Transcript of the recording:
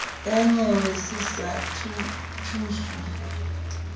ya nyewe se sa thuswe